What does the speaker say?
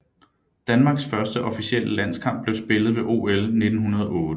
Danmarks første officielle landskamp blev spillet ved OL 1908